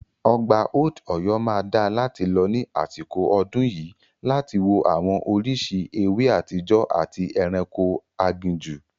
Ọgbà Old Ọ̀yọ́ máa dáa láti lọ ní àsìkò ọdún yìí láti wo àwọn oríṣìí ewé àtijọ́ àti ẹranko aginjù.